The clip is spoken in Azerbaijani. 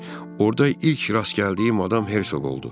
Orda ilk rast gəldiyim adam Hersoq oldu.